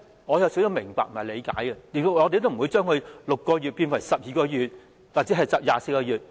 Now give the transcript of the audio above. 我也明白和理解這種做法，所以不會要求把它由6個月變為12個月或24個月。